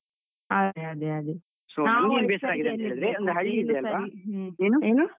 ಅದೇ, ಅದೇ, ಅದೇ ನಾವು .